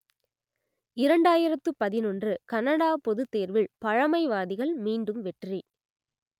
இரண்டாயிரத்து பதினொன்று கனடா பொதுத்தேர்வில் பழமைவாதிகள் மீண்டும் வெற்றி